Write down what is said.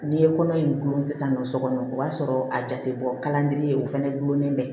N'i ye kɔnɔ in gulon sisan nɔ sokɔnɔ o b'a sɔrɔ a jate bɔ kala ye o fɛnɛ gulonlen bɛ